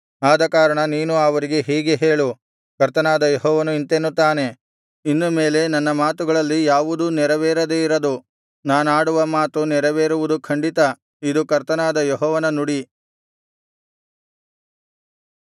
ಆದಕಾರಣ ನೀನು ಅವರಿಗೆ ಹೀಗೆ ಹೇಳು ಕರ್ತನಾದ ಯೆಹೋವನು ಇಂತೆನ್ನುತ್ತಾನೆ ಇನ್ನು ಮೇಲೆ ನನ್ನ ಮಾತುಗಳಲ್ಲಿ ಯಾವುದೂ ನೆರವೇರದೆ ಇರದು ನಾನಾಡುವ ಮಾತು ನೆರವೇರುವುದು ಖಂಡಿತ ಇದು ಕರ್ತನಾದ ಯೆಹೋವನ ನುಡಿ